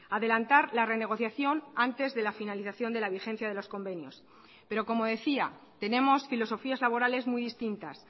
adelantar la renegociación antes de la finalización de la vigencia de los convenios pero como decía tenemos filosofías laborales muy distintas